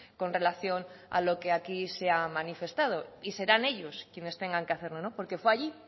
con relación a lo que aquí se ha manifestado y serán ellos quienes tengan que hacerlo porque fue allí